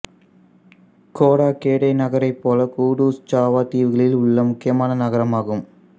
Kotagede நகரைப் போல Kudus Java தீவுகளில் உள்ள முக்கியமான நகரமாகும்